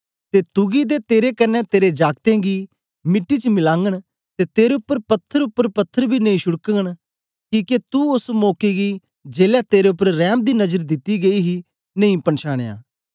ते तुगी ते तेरे कन्ने तेरे जागतें गी मिट्टी च मिलागन ते तेरे च पत्थर उपर पत्थर बी नेई छुड़गन किके तू ओस मौके गी जेलै तेरे उपर रैम दी नजर दिती गेई ही नेई पछांनया